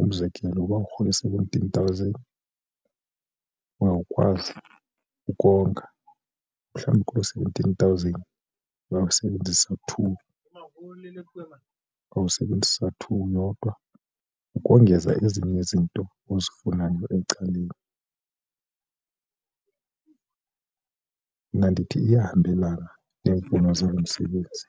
Umzekelo, uba urhola i-seventeen thousand uzawukwazi ukonga mhlawumbi kulo seventeen thousand uyawusebenzisa two, uyawusebenzisa two yodwa ukongeza ezinye izinto ozifunayo ecaleni. Mna ndithi iyahambelana neemfuno zalo msebenzi.